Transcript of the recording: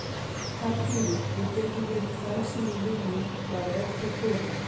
Pældu í því, við getum verið þær sem við viljum, bara ef þú þorir.